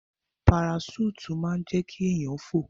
Paraṣúùtì máa ń jẹ́ kí èèyàn fò